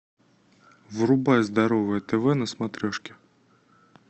врубай здоровое тв на смотрешке